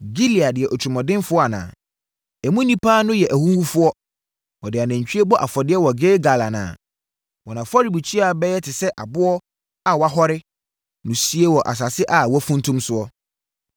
Gilead yɛ otirimuɔdenfoɔ anaa? Emu nnipa no yɛ ahuhufoɔ! Wɔde anantwie bɔ afɔdeɛ wɔ Gilgal anaa? Wɔn afɔrebukyia bɛyɛ te sɛ aboɔ a wɔahɔre no sie wɔ asase a wɔafuntum soɔ.